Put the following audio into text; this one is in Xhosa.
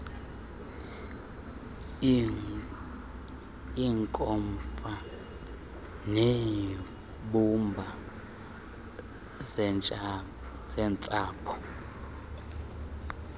iinkomfa zeembumba zeentsapho